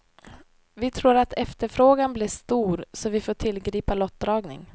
Vi tror att efterfrågan blir stor så vi får tillgripa lottdragning.